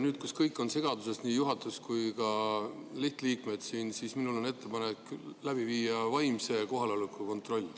Nüüd, kus kõik on segaduses, nii juhatus kui ka lihtliikmed siin, on minul ettepanek läbi viia vaimse kohaloleku kontroll.